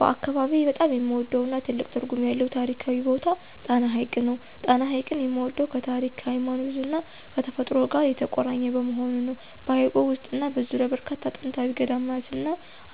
በአካባቢዬ በጣም የምወደውና ትልቅ ትርጉም ያለው ታሪካዊ ቦታ ጣና ሐይቅ ነው። ጣና ሐይቅን የምወደው ከታሪክ፣ ከሃይማኖትና ከተፈጥሮ ጋር የተቆራኘ በመሆኑ ነው። በሐይቁ ውስጥና በዙሪያው በርካታ ጥንታዊ ገዳማትና